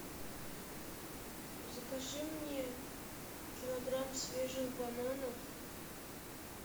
закажи мне килограмм свежих бананов